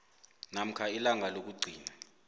namkha ilanga lokugcina